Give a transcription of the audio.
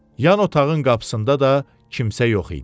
Yan otağın qapısında da kimsə yox idi.